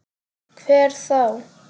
Hver þá?